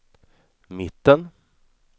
mitten